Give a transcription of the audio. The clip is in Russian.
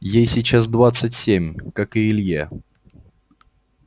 ей сейчас двадцать семь как и илье